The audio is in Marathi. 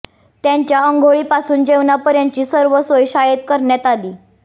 त्यांच्या आंघोळीपासून जेवणापर्यंतची सर्व सोय शाळेत करण्यात आली